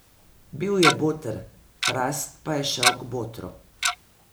Bil je boter, krast pa je šel k botru.